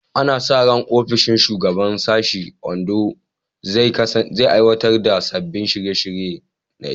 Ana sa ran ofishin shugaban sashe a Ondo zai aiwatar da sabbin shirye-shiryen ilimi.